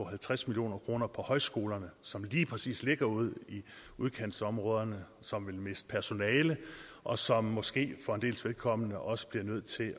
halvtreds million kroner på højskolerne som lige præcis ligger ude i udkantsområderne og som vil miste personale og som måske for en dels vedkommende også bliver nødt til